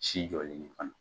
Si jɔlen ye fana